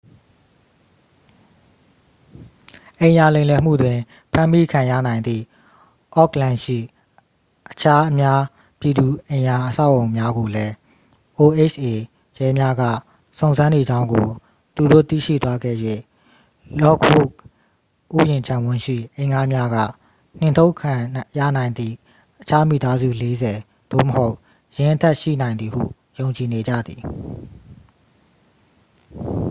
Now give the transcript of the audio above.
အိမ်ရာလိမ်လည်မှုတွင် ဖမ်းမိခံရနိုင်သည့် အော့ခ်လန်ရှိ အခြား အများပြည်သူအိမ်ရာအဆောက်အအုံများကိုလည်း oha ရဲများက စုံစမ်းနေကြောင်းကို သူတို့ သိရှိသွားခဲ့၍ လော့ခ်ဝုဒ်ဥယျာဉ်ခြံဝန်းရှိ အိမ်ငှားများက နှင်ထုတ်ခံရနိုင်သည့် အခြား မိသားစု 40 သို့မဟုတ် ယင်းအထက် ရှိနိုင်သည်ဟု ယုံကြည်နေကြသည်